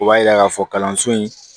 O b'a yira k'a fɔ kalanso in